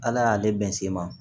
Ala y'ale bɛn se ma